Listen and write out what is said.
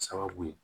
Sababu ye